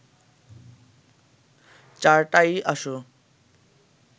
চারটায়ই আসো